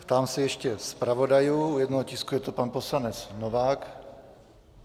Ptám se ještě zpravodajů - u jednoho tisku je to pan poslanec Novák.